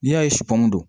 N'i y'a ye